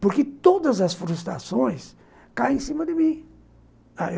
Porque todas as frustrações caem em cima de mim.